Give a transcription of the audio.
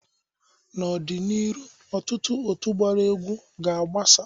N'ọ dị n'iru, ọtụtụ otu gbara egwu ga agbasa.